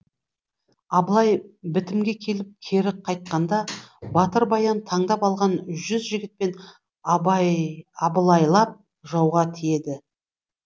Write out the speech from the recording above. абылай бітімге келіп кері қайтқанда батыр баян таңдап алған жүз жігітпен абылайлап жауға тиеді